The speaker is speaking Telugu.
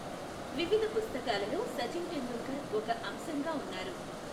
వివిధ పుస్తకాలలో సచిన్ టెండూల్కర్ ఒక అంశంగా ఉన్నారు.